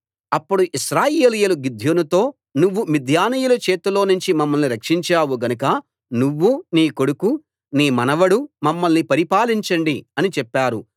అప్పుడు ఇశ్రాయేలీయులు గిద్యోనుతో నువ్వు మిద్యానీయుల చేతిలోనుంచి మమ్మల్ని రక్షించావు గనుక నువ్వు నీ కొడుకు నీ మనవడు మమ్మల్ని పరిపాలించండి అని చెప్పారు